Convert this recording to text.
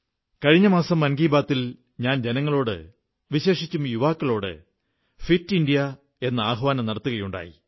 കഴിഞ്ഞ മാസം മൻ കീ ബാത്തിൽ ഞാൻ ജനങ്ങളോട് വിശേഷിച്ചും യുവാക്കളോട് ഫിറ്റ് ഇന്ത്യ എന്ന ആഹ്വാനം നടത്തുകയുണ്ടായി